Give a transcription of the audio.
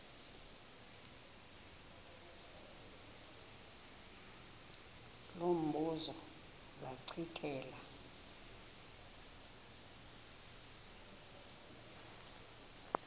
lo mbuzo zachithela